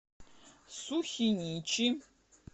сухиничи